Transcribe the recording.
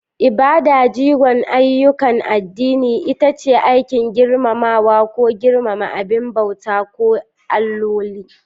Ibada, jigon ayyukan addini, ita ce aikin girmamawa ko girmama abin bautawa ko alloli.